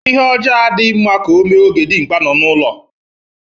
lhe ojoo ufodu adighi rnrna ka o mee oge dirnkpa no n'ulo.